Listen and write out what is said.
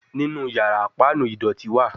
Ninu yara, panu idọti wa